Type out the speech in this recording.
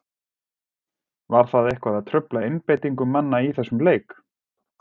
Var það eitthvað að trufla einbeitingu manna í þessum leik?